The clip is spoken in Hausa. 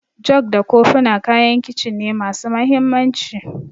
Jug da kofina kayan Kicin ne masu mahimmanci.